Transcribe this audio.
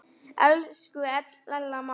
Elsku Ella amma.